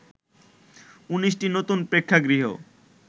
১৯টি নতুন প্রেক্ষাগৃহ